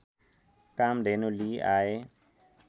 कामधेनु लिई आए